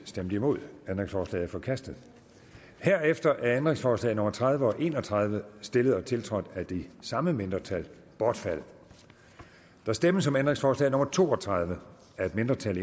stemte nul ændringsforslaget er forkastet herefter er ændringsforslag nummer tredive og en og tredive stillet og tiltrådt af de samme mindretal bortfaldet der stemmes om ændringsforslag nummer to og tredive af et mindretal